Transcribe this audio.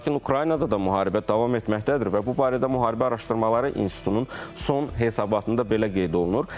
Lakin Ukraynada da müharibə davam etməkdədir və bu barədə Müharibə Araşdırmaları İnstitutunun son hesabatında belə qeyd olunur.